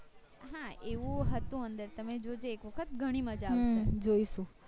હા એવું હતું અંદર તમે જોજો એક વખત ઘણી મજા આવશે